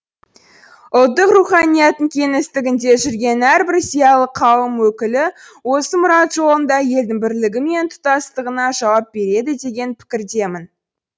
ұлттық руханияттың кеңістігінде жүрген әрбір зиялы қауым өкілі осы мұрат жолында елдің бірлігі мен тұтастығына жауап береді деген пікірдемін